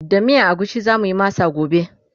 da miyan agushi zamuyi masa gobe